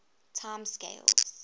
time scales